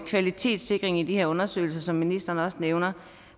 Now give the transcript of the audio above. kvalitetssikring i de her undersøgelser som ministeren også nævner